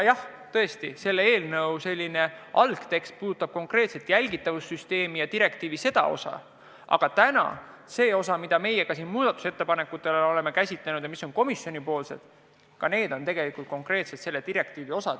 Jah, eelnõu algne tekst käsitleb konkreetset jälgitavussüsteemi ja direktiivi sellekohast osa, aga ka komisjonipoolsed muudatusettepanekud tulenevad konkreetselt sellest direktiivist.